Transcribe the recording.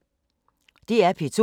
DR P2